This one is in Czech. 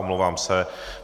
Omlouvám se.